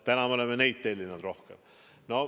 Täna me oleme neid tellinud rohkem.